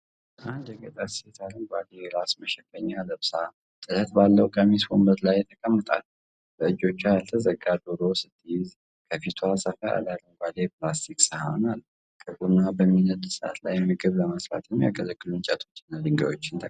አንድ የገጠር ሴት አረንጓዴ የራስ መሸፈኛ ለብሳ፣ ጥለት ባለው ቀሚስ ወንበር ላይ ተቀምጣለች። በእጆቿ ያልተዘጋጀ ዶሮ ስትይዝ፣ ከፊቷ ሰፋ ያለ አረንጓዴ የፕላስቲክ ሰሃን አለ። ከጎኗ በሚነድ እሳት ላይ ምግብ ለመስራት የሚያገለግሉ እንጨቶችና ድንጋዮች ተቀምጠዋል።